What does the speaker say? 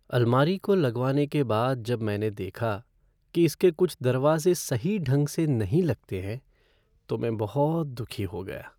अलमारी को लगवाने के बाद जब मैंने देखा कि इसके कुछ दरवाजे सही ढंग से नहीं लगते हैं तो मैं बहुत दुखी हो गया।